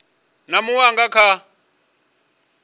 na munwe a nga kha